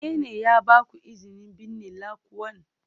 Wane ne ya ba ku izinin binne lanƙwan?